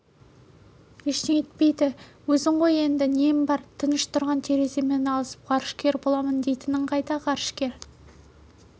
ештеңе етпейді өзің ғой енді нең бар тыныш тұрған тереземен алысып ғарышкер боламын дейтінің қайда ғарышкер